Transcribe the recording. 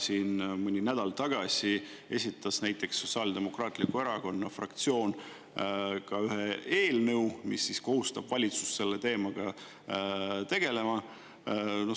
Mõni nädal tagasi esitas näiteks Sotsiaaldemokraatliku Erakonna fraktsioon ka ühe eelnõu, mis kohustab valitsust selle teemaga tegelema.